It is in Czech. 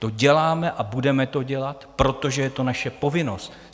To děláme a budeme to dělat, protože je to naše povinnost.